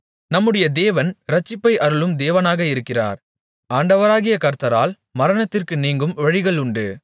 நம்முடைய தேவன் இரட்சிப்பை அருளும் தேவனாக இருக்கிறார் ஆண்டவராகிய கர்த்தரால் மரணத்திற்கு நீங்கும் வழிகளுண்டு